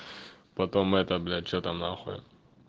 потом это блять что там нахуй